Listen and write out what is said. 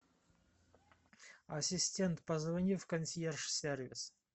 ассистент позвони в консьерж сервис